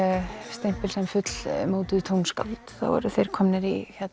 stimpil sem fullmótuð tónskáld þá eru þeir komnir í